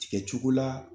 Tigɛ cogo la